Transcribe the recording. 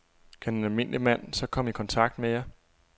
Kan en almindelig mand så komme i kontakt med jer?